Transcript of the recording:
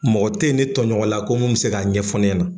Mɔgɔ te ye ne tɔɲɔgɔn la ko min bɛ se k'a ɲɛfɔ ne ɲana.